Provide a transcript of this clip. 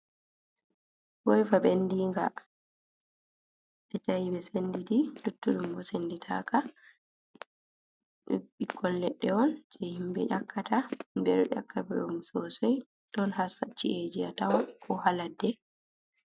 Goiva ɓendinga, ɓe ta'i ɓe senditi, luttuɗum bo senditaka. Ɗum ɓikkon ledde on jei himbe ƴakkata, himɓe ɗo ƴakka ɗum sosai. Ɗon ha ci'eji a tawon ko ha ladde.